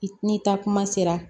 Ni taa kuma sera